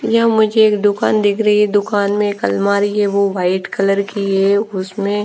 यह मुझे एक दुकान दिख रही है दुकान में एक अलमारी है वो वाइट कलर की है उसमें--